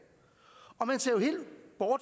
og